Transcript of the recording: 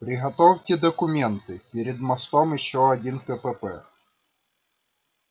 приготовьте документы перед мостом ещё один кпп